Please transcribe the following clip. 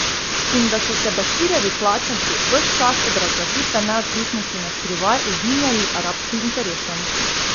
In da so se Baširjevi plačanci ves čas od razglasitve neodvisnosti na skrivaj udinjali arabskim interesom.